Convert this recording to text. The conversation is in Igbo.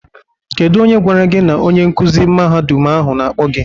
Kedu onye gwara gi na onye nkuzi mahadum ahụ na-akpo gi?